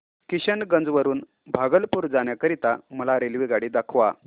किशनगंज वरून भागलपुर जाण्या करीता मला रेल्वेगाडी दाखवा